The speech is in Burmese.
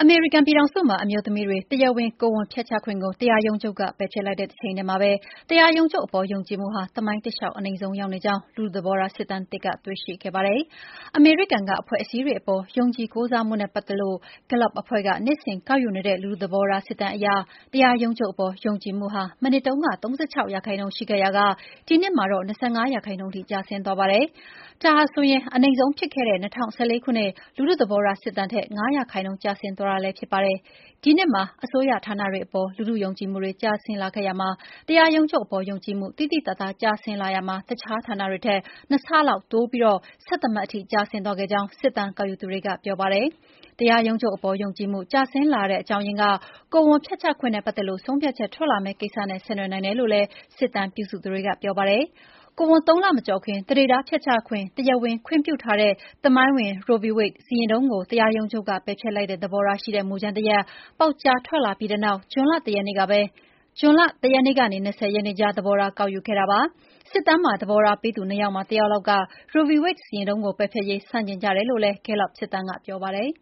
မေရိကန်ပြည်ထောင်စုမှာ အမျိုးသမီးတွေ တရားဝင် ကိုယ်ဝန်ဖျက်ချခွင့်ကို တရားရုံးချုပ်က ပယ်ဖျက်လိုက်တဲ့ တချိန်တည်းမှာပဲ တရားရုံးချုပ်အပေါ် ယုံကြည်မှုဟာ သမိုင်းတလျှောက် အနိမ့်ဆုံးရောက်နေကြောင်း လူထုသဘောထား စစ်တမ်းသစ်က တွေ့ရှိခဲ့ပါတယ်။ အမေရိကန်က အဖွဲ့အစည်းတွေအပေါ် ယုံကြည်ကိုးစားမှုနဲ့ ပတ်သက်လို့ Gallup အဖွဲ့က နှစ်စဉ်ကောက်ယူနေတဲ့ လူထုသဘောထားစစ်တမ်းအရ တရားရုံးချုပ်အပေါ် ယုံကြည်မှုဟာ မနှစ်တုန်းက ၃၆ ရာခိုင်နှုန်းရှိခဲ့ရာက ဒီနှစ်မှာတော့ ၂၅ ရာခိုင်နှုန်းထိကျဆင်းသွားပါတယ်။ ဒါဟာဆိုရင် အနိမ့်ဆုံးဖြစ်ခဲ့တဲ့ ၂၀၁၄ ခုနှစ် လူထုသဘောထားစစ်တမ်းထက် ၅ ရာခိုင်နှုန်းကျဆင်းသွားတာလည်းဖြစ်ပါတယ်။ ဒီနှစ်မှာ အစိုးရဌာနတွေအပေါ်လူထုယုံကြည်မှုတွေ ကျဆင်းလာခဲ့ရာမှာ တရားရုံးချုပ်အပေါ် ယုံကြည်မှု သိသိသာသာ ကျဆင်းလာရာမှာ တခြားဌာနတွေထက် ၂ ဆလောက်တိုးပြီး ၁၁ မှတ် ကျဆင်းသွားခဲ့ကြောင်း စစ်တမ်းကောက်ယူသူတွေကပြောပါတယ်။ တရားရုံးချုပ်အပေါ် ယုံကြည်မှု ကျဆင်းလာရတဲ့အကြောင်းရင်းက ကိုယ်ဝန်ဖျက်ချခွင့်နဲ့ ပတ်သက်လို့ ဆုံးဖြတ်ချက် ထွက်လာမယ့် ကိစ္စနဲ့ ဆက်နွယ်နိုင်တယ်လို့လည်း စစ်တမ်းပြုစုသူတွေက ပြောပါတယ်။ ကိုယ်ဝန် ၃ လမကျော်ခင် သန္ဓေသားဖျက်ချခွင့် တရားဝင်ခွင့်ပြုထားတဲ့ သမိုင်းဝင် Roe v. Wade စီရင်ထုံးကို တရားရုံးချုပ်က ပယ်ဖျက်လိုတဲ့ သဘောထားရှိတဲ့ မူကြမ်းတရပ် ပေါက်ကြားထွက်လာပြီးနောက် ဂျွန်လ ၁ ရက်နေ့ကနေ ၂၀ ရက်နေ့ကြား သဘောထား ကောက်ယူခဲ့တာပါ။ စစ်တမ်းမှာ သဘောထား ပေးသူ ၂ ယောက်မှာ ၁ယောက်လောက်က Roe v.Wade စီရင်ထုံးကို ပယ်ဖျက်ရေး ဆန့်ကျင်ကြတယ်လို့ Gallup စစ်တမ်းက ပြောပါတယ်